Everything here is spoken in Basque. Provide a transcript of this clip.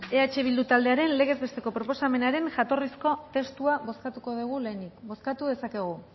eh bildu taldearen legez besteko proposamenaren jatorrizko testua bozkatuko dugu lehenik bozkatu dezakegu